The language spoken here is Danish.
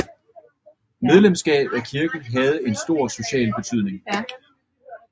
Medlemskab af kirken havde stor social betydning